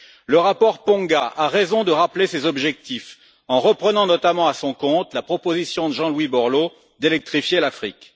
Le rapport Ponga a raison de rappeler ces objectifs, en reprenant notamment à son compte la proposition de Jean Louis Borloo d'électrifier l'Afrique.